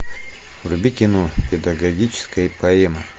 вруби кино педагогическая поэма